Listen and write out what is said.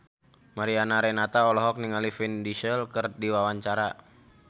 Mariana Renata olohok ningali Vin Diesel keur diwawancara